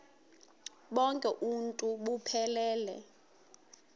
bonk uuntu buphelele